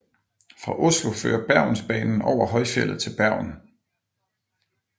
Fra Oslo fører Bergensbanen over højfjeldet til Bergen